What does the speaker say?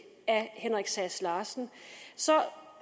af herre henrik sass larsen